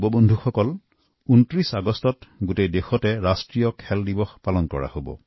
নৱপ্ৰজন্মৰ মোৰ প্ৰিয় বন্ধুসকলৰ ২৯ অগাষ্ট তাৰিখে সমগ্ৰ দেশতে ৰাষ্ট্ৰীয় ক্ৰীড়া দিবস উদযাপন কৰে